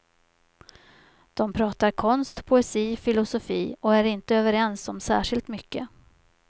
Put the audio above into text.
De pratar konst, poesi, filosofi och är inte överens om särskilt mycket.